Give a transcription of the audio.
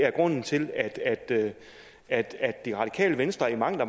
at grunden til at det at det radikale venstre i mangt og